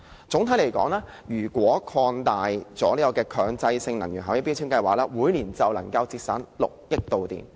總的來說，如果擴大強制性標籤計劃，每年便能夠節省6億度電。